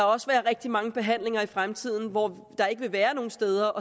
også være rigtig mange behandlinger i fremtiden hvor der ikke vil være nogen steder